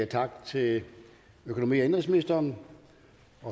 tak til økonomi og indenrigsministeren